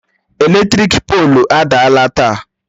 Eletrik poolu adaala taa